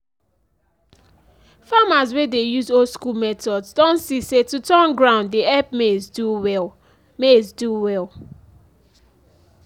farmers wey dey use old school methods don see say to turn ground dey help maize do well. maize do well.